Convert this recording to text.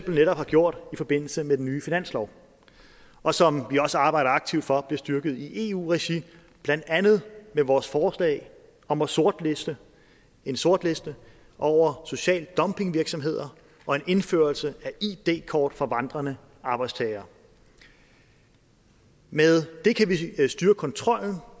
netop har gjort i forbindelse med den nye finanslov og som vi også arbejder aktivt for bliver styrket i eu regi blandt andet med vores forslag om en sortliste en sortliste over social dumping virksomheder og en indførelse af id kort for vandrende arbejdstagere med det kan vi styrke kontrollen